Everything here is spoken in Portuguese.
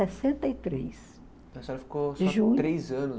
Sessenta e três A senhora ficou